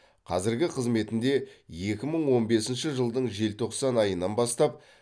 қазіргі қызметінде екі мың он бесінші жылдың желтоқсан айынан бастап